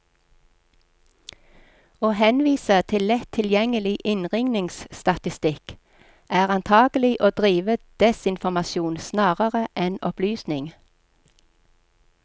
Å henvise til lett tilgjengelig innringningsstatistikk, er antagelig å drive desinformasjon snarere enn opplysning.